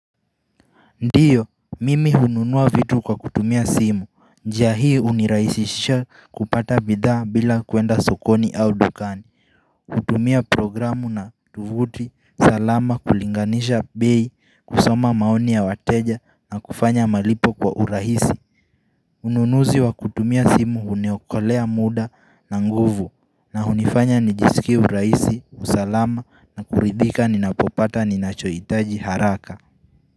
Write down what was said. Ndiyo, mimi hununua vitu kwa kutumia simu, njia hii hunirahisisha kupata bidhaa bila kuenda sokoni au dukani kutumia programu na tovuti, salama kulinganisha bei, kusoma maoni ya wateja na kufanya malipo kwa urahisi Ununuzi wa kutumia simu huniokolea muda na nguvu na hunifanya nijisikie urahisi, usalama na kuridhika ninapopata ninachohitaji haraka.